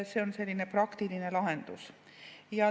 See on selline praktiline lahendus.